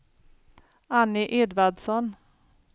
Anny Edvardsson